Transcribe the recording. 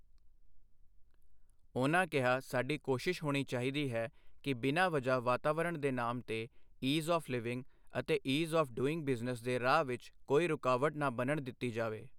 ਉਨ੍ਹਾਂ ਕਿਹਾ ਸਾਡੀ ਕੋਸ਼ਿਸ਼ ਹੋਣੀ ਚਾਹੀਦੀ ਹੈ ਕਿ ਬਿਨ੍ਹਾਂ ਵਜ੍ਹਾ ਵਾਤਾਵਰਣ ਦੇ ਨਾਮ ਤੇ ਈਜ਼ ਆਵੑ ਲਿਵਿੰਗ ਅਤੇ ਈਜ਼ ਆੱਫ ਡੂਇੰਗ ਬਿਜ਼ਨਸ ਦੇ ਰਾਹ ਵਿਚ ਕੋਈ ਰੁਕਾਵਟ ਨਾ ਬਣਨ ਦਿੱਤੀ ਜਾਵੇ।